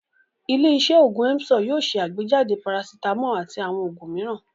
Ilé-iṣẹ́ òògùn Emzor yóò ṣe àgbéjáde parasítámọ̀ àti àwọn òògùn mìíràn.